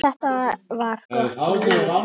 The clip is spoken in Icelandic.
Þetta var gott líf.